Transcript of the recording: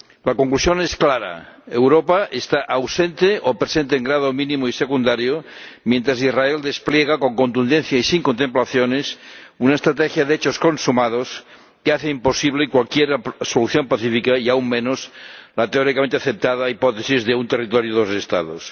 La conclusión es clara Europa está ausente ―o presente en grado mínimo y secundario―, mientras Israel despliega con contundencia y sin contemplaciones una estrategia de hechos consumados que hace imposible cualquier solución pacífica, y aún menos la teóricamente aceptada hipótesis de un territorio y dos Estados.